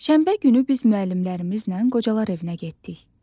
Şənbə günü biz müəllimlərimizlə qocalar evinə getdik.